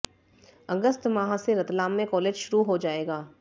अगस्त माह से रतलाम में कालेज शुरू हो जाएगा